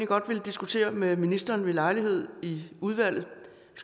godt vil diskutere med ministeren ved lejlighed i udvalget